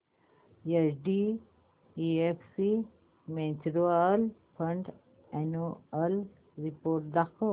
HDFC mutual fund annual report दाखव